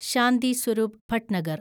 Shanti Swarup Bhatnagar